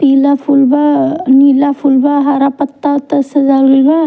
पीला फूल बा नीला फूल बा हरा पत्ता ओत्ता से सजावल गइल बा।